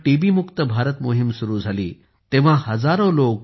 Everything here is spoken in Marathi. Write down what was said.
मुक्त भारत मोहीम सुरू झाली तेव्हा हजारो लोक टी